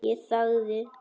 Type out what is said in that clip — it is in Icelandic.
Ég þagði.